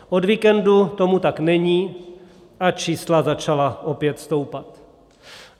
Od víkendu tomu tak není a čísla začala opět stoupat.